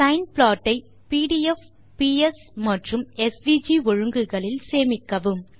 sign plot ஐ PDF PS மற்றும் SVG ஒழுங்குகளில் சேமிக்கவும்